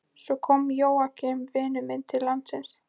Svo kom Jóakim vinur minn til landsins.